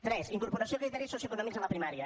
tres incorporació de criteris socioeconòmics a la primària